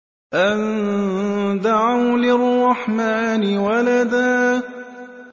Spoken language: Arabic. أَن دَعَوْا لِلرَّحْمَٰنِ وَلَدًا